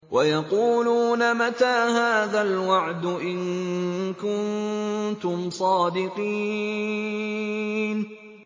وَيَقُولُونَ مَتَىٰ هَٰذَا الْوَعْدُ إِن كُنتُمْ صَادِقِينَ